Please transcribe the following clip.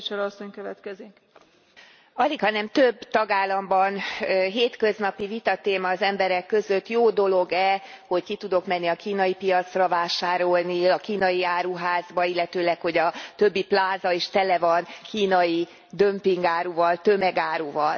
Elnök Asszony, alighanem több tagállamban hétköznapi vitatéma az emberek között jó dolog e, hogy ki tudok menni a kínai piacra vásárolni, a kínai áruházba, illetőleg, hogy a többi pláza is tele van kínai dömpingáruval, tömegáruval.